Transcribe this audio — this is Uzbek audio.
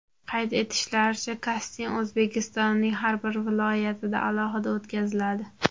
Qayd etishlaricha, kasting O‘zbekistonning har bir viloyatida alohida o‘tkaziladi.